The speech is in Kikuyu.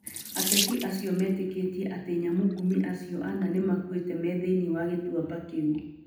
Ateti acio metĩkĩtie atĩ nyamũngumĩ acio ana nĩ makuĩte me thĩinĩ wa gĩtuamba kĩu.